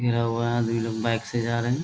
घेरा हुआ है दुई लोग बाइक से जा रहें हैं।